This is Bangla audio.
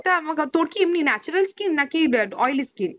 তোর কী এমনি natural skin নাকি oily skin ?